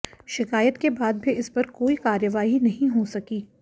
शिकायत के बाद भी इसपर कोई कार्यवाही नही हो सकी